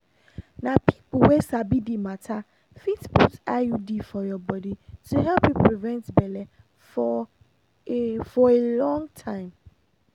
na people wey sabi the matter fit put iud for your body to help you prevent belle for a for a long time.